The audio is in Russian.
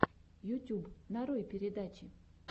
ютюб нарой передачи